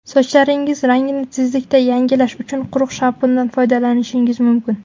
Sochlaringiz rangini tezlikda yangilash uchun quruq shampundan foydalanishingiz mumkin.